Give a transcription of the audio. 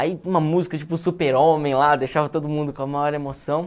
Aí uma música tipo Super Homem lá, deixava todo mundo com a maior emoção.